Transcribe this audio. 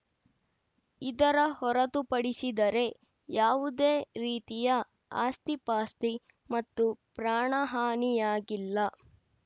ಇದರ ಹೊರತುಪಡಿಸಿದರೆ ಯಾವುದೇ ರೀತಿಯ ಆಸ್ತಿ ಪಾಸ್ತಿ ಮತ್ತು ಪ್ರಾಣಹಾನಿಯಾಗಿಲ್ಲ